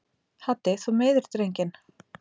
Haddi þú meiðir drenginn!